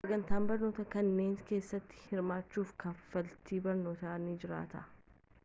sagantaa barnootaa kanneen keessatti hirmaachuuf kafaltiin barnootaa ni jiraata